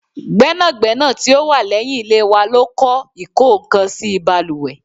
Gbẹ́nàgbẹ́nà tí ó wà leyin ilé wa ló kọ ikokansi baluwe